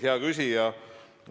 Hea küsija!